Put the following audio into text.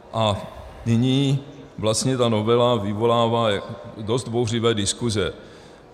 A nyní vlastně ta novela vyvolává dost bouřlivé diskuze.